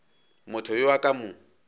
motho yo a ka mo